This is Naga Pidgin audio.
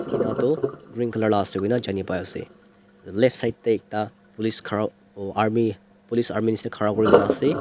inatu green colour la ase kuina janipai ase left side teh duita police khara oh army police army nishina khara kurina ase.